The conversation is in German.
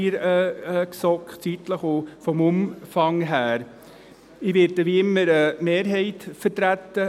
Ich werde, wie immer, die Mehrheit vertreten.